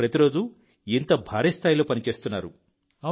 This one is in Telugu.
మీరు ప్రతిరోజూ ఇంత భారీ స్థాయిలో పని చేస్తున్నారు